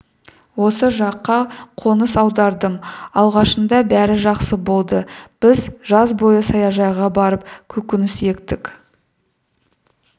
осы жаққа қоныс аудардым алғашында бәрі жақсы болды біз жаз бойы саяжайға барып көкөніс ектік